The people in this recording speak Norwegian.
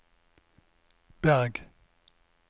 Berg